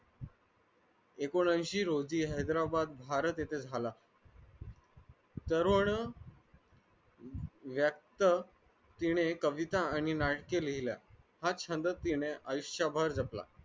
ऐकोनयांशी रोजी भारत येथे झाला करोड तिने कविता आणि नाट्य लिहिल्या हा छंद तिने आयुष्यावर जपला